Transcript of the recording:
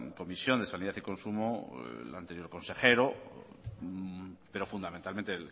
comisión de sanidad y consumo el anterior consejero pero fundamentalmente